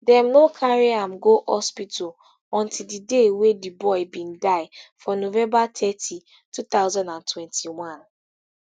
dem no carry am go hospital until di day wey di boy bin die for november thirty two thousand and twenty-one